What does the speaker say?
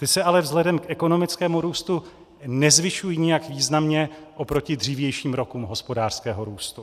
Ty se ale vzhledem k ekonomickému růstu nezvyšují nijak významně oproti dřívějším rokům hospodářského růstu.